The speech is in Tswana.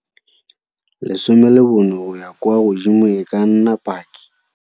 14 go ya kwa godimo e ka nna paki.